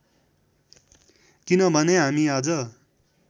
किनभने हामी आज